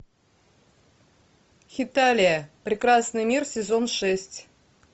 хеталия прекрасный мир сезон шесть